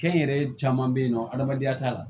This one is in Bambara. Kɛnyɛrɛye caman bɛ yen nɔ adamadenya t'a la